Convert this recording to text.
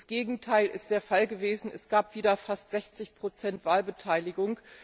Das Gegenteil ist der Fall gewesen, es gab wieder fast 60 Wahlbeteiligung.